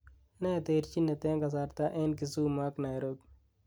ne terjinet en kasarta en kisumu ak nairobi